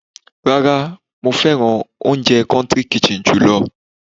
Rárá, mo fẹ́ oúnjẹ country kitchen jù lọ.